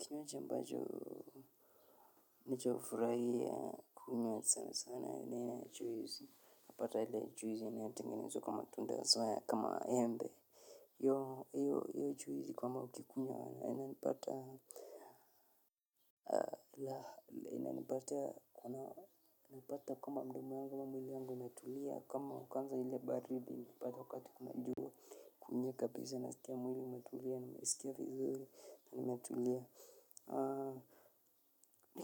Kinywaji ambajo, nijofurahi ya kukunywa sana sana, ila ina achuizi, napata ila achuizi, napata ila achuizi, ina tengenezwa kamatunda aswaya, kama embe. Yo, yyo, yyo achuizi kwama ukikunywa na, ina nipata, ila, ina nipata, ina, nipata kama mdomo yangu, kama mwili yangu, umetulia, kama ukanza ila baridi, nipata wakati kumajua, nye kabisa, nasikia mwili, umetulia, nimesikia vizuri, umetulia.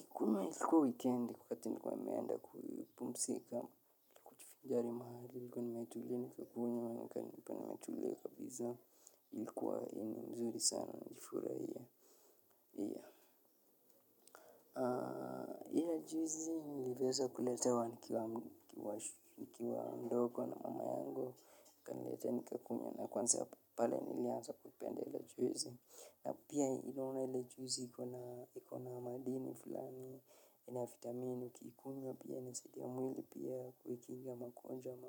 Kuma ilikuwa weekend kukati nikuwa meanda kuipumsika jari mahali ilikuwa nimetulie nikakunywa ilikuwa mzuri sana najifuraha hiyo. Juzi niliweza kuletewa nikiwa ndoko na mamuleta nika kwanzia ya pale nilianza kuchwezi. Na pia ilo una ila juu zikona madini fulani ya na fitamini ukiikunywa pia nisaidia mwili pia kuikinga makonjwa ama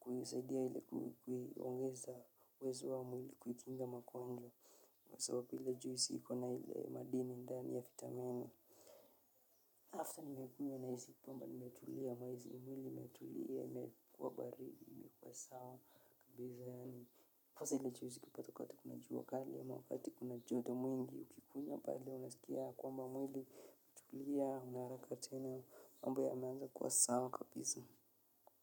kusaidia ila kuiongeza uwezo wa mwili kuikinga makonjwa kwa sababu ila juu ikona ile madini ndani ya fitamini after nimekunywa na hizi pamba nimetulia maizi mwili matukua barili sao kabeza ya ni foselechewezi ki patoka wakale ya mwafati kuna joto mwingi ukikunya padle unasikia kwa mba mwili liya unara katena ambo yameanza kuwa sawa kapisa.